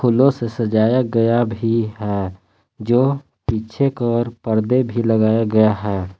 फूलों से सजाया गया भी है जो पीछे के वर पर्दे भी लगाया गया है।